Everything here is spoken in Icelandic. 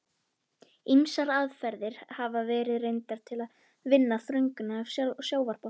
Ýmsar aðferðir hafa verið reyndar til að vinna þörunga af sjávarbotni.